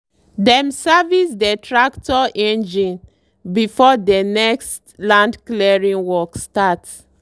dem service dey tractor engine before dey next land clearing work start.